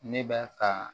Ne b'a ka